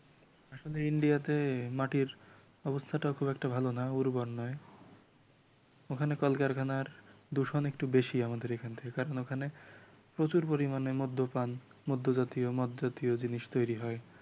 আসলে ইন্ডিয়াতে মাটির অবস্থাটা খুব একটা ভাল না উর্বর নয় ওখানে কল কারখানার দূষণ একটু বেশি আমাদের এখান থেকে কারণ ওখানে প্রচুর পরিমাণে মদ্যপান মদ্য জাতীয় মদ জাতীয় জিনিস তৈরি হয় ।